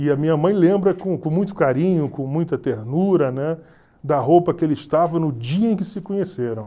E a minha mãe lembra com com muito carinho, com muita ternura, né, da roupa que eles estavam no dia em que se conheceram.